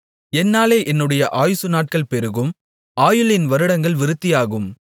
என்னாலே உன்னுடைய ஆயுசு நாட்கள் பெருகும் ஆயுளின் வருடங்கள் விருத்தியாகும்